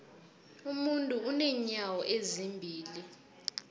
umuntu unenyawo ezimbili